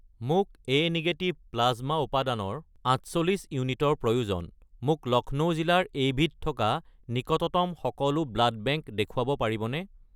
মোক A negative plasma উপাদানৰ 48 ইউনিটৰ প্ৰয়োজন, মোক লক্ষ্ণৌ জিলাৰ এইবিধ থকা নিকটতম সকলো ব্লাড বেংক দেখুৱাব পাৰিবনে?